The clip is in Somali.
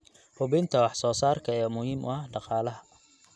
Hubinta wax soo saarka ayaa muhiim u ah dhaqaalaha.